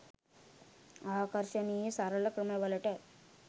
ආකර්ශනීය සරල ක්‍රම වලට